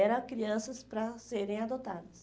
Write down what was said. Era crianças para serem adotadas.